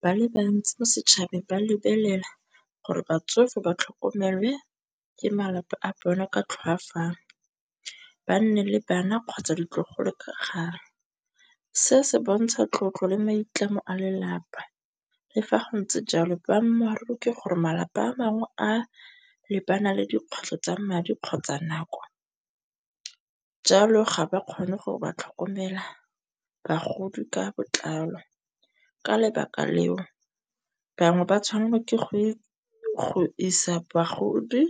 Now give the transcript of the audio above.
Ba le bantsi mo setšhabeng ba lebelela gore batsofe ba tlhokomelwe ke malapa a bona ka tlhoafalo, ba nne le bana kgotsa ditlogolo ka kgale. Se se bontsha tlotlo le maitlamo a lelapa le fa go ntse jalo boammaaruri ke gore malapa a mangwe a lebana le dikgwetlho tsa madi kgotsa nako. Jalo, ga ba kgone go ba tlhokomela bagodi ka botlalo. Ka lebaka leo bangwe ba tshwanelwa ke go isa bagodi